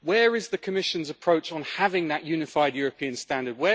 Where is the Commission's approach on having that unified European standard?